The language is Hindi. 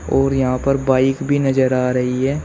और यहां पर बाइक भी नजर आ रही है।